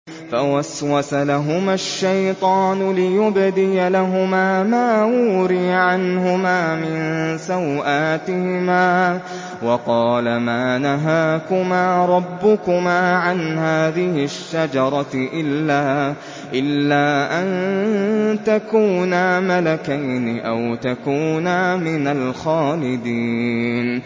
فَوَسْوَسَ لَهُمَا الشَّيْطَانُ لِيُبْدِيَ لَهُمَا مَا وُورِيَ عَنْهُمَا مِن سَوْآتِهِمَا وَقَالَ مَا نَهَاكُمَا رَبُّكُمَا عَنْ هَٰذِهِ الشَّجَرَةِ إِلَّا أَن تَكُونَا مَلَكَيْنِ أَوْ تَكُونَا مِنَ الْخَالِدِينَ